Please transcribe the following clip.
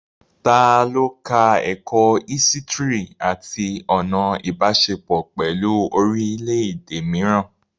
Ta ló ka ẹ̀kọ́ ísítìrì àti ọ̀nà Ìbáṣepọ̀ pẹ̀lú orílẹ̀ èdè mìíràn?